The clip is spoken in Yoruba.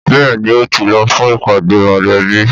Bẹ́ẹ̀ni ,o ti lọ fún ìpàdé mọlẹbi.